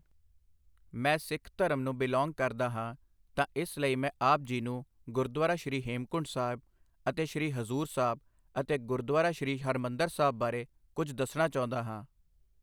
ਮੈਂ ਸਿੱਖ ਧਰਮ ਨੂੰ ਬਿਲੌਂਗ ਕਰਦਾ ਹਾਂ, ਤਾਂ ਇਸ ਲਈ ਮੈਂ ਆਪ ਜੀ ਨੂੰ ਗੁਰਦੁਆਰਾ ਸ਼੍ਰੀ ਹੇਮਕੁੰਟ ਸਾਹਿਬ ਅਤੇ ਸ਼੍ਰੀ ਹਜ਼ੂਰ ਸਾਹਿਬ ਅਤੇ ਗੁਰਦੁਆਰਾ ਸ਼੍ਰੀ ਹਰਿਮੰਦਰ ਸਾਹਿਬ ਬਾਰੇ ਕੁੱਝ ਦੱਸਣਾ ਚਾਹੁੰਦਾ ਹਾਂ